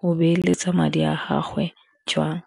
go beeletsa madi a gagwe jwang.